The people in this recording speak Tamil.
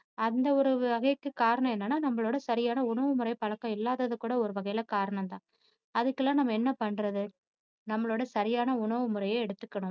அந்த ஒரு வகைக்கு காரணம் என்னன்னா நம்மளோட சரியான உணவுமுறை பழக்கம் இல்லாதது கூட ஒரு வகையில காரண ம்தான் அதுக்கெல்லாம் நம்ம என்ன பண்றது. நம்மளோட சரியான உணவுமுறையை எடுத்துக்கணும்